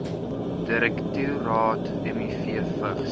direktoraat miv vigs